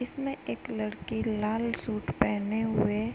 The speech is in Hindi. इसमें एक लड़की लाल सूट पहने हुए --